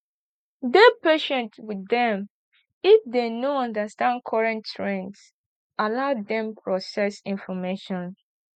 dey patient with dem if dem no understand current trends allow dem process information